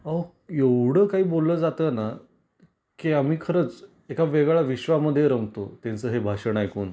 अहो एवढ काही बोललं जात ना की आम्ही खरंच एका वेगळ्या विश्वा मध्ये रमतो त्यांच हे भाषण ऐकून.